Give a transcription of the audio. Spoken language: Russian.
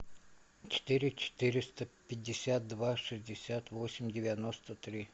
четыре четыреста пятьдесят два шестьдесят восемь девяносто три